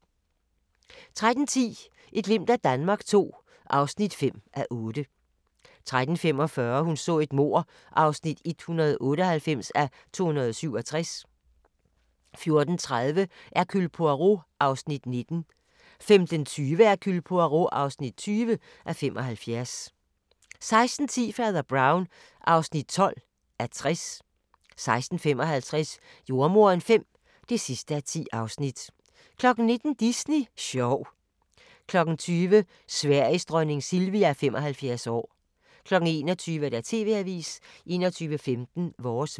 13:10: Et glimt af Danmark II (5:8) 13:45: Hun så et mord (198:267) 14:30: Hercule Poirot (19:75) 15:20: Hercule Poirot (20:75) 16:10: Fader Brown (12:60) 16:55: Jordemoderen V (10:10) 19:00: Disney sjov 20:00: Sveriges dronning Silvia 75 år 21:00: TV-avisen 21:15: Vores vejr